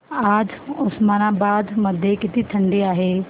आज उस्मानाबाद मध्ये किती थंडी आहे